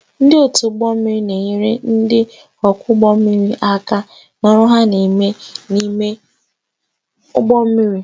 Ndị otu ụgbọ mmiri na-enyere ndị ọkwọ ụgbọ mmiri aka n'ọrụ ha n'ime ụgbọ mmiri